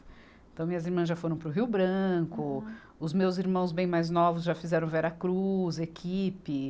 Então, minhas irmãs já foram para o Rio Branco, os meus irmãos bem mais novos já fizeram Veracruz, equipe.